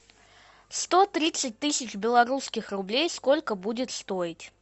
сто тридцать тысяч белорусских рублей сколько будет стоить